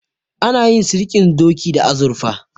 Ana yin sirdin doki da azurfa.